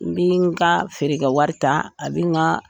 N bɛ n ka feerekɛwari wari ta a bɛ n ka